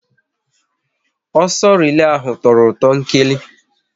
Ọsọ relay ahụ tọrọ ụtọ nkeli